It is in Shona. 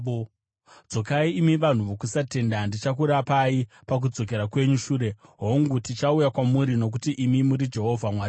“Dzokai, imi vanhu vokusatenda; ndichakurapai pakudzokera kwenyu shure.” “Hongu, tichauya kwamuri, nokuti imi muri Jehovha Mwari wedu.